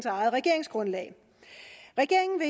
eget regeringsgrundlag regeringen